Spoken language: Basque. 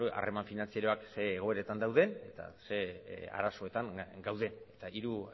harreman finantzarioak zein egoeretan dauden eta zein arazoetan gauden eta hiru